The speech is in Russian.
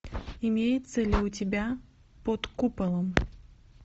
имеется ли у тебя под куполом